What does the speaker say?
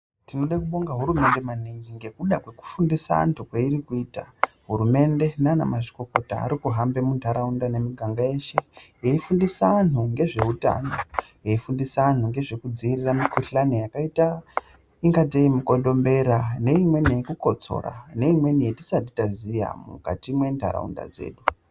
Tinode kubonga hurumende maningi ngekuda kwekufundisa antu kweiri kuita. Hurumende nanamazvikokota, ari kuhambe muntaraunda nemiganga yeshe veyifundisa anhu ngezveutano. Veifundisa anhu ngezvekudziirira mikuhlani yakaita ingatei mukondombera, neimweni yekukotsora, neimweni yetisati taziya mukati mwentaraunda dzedu.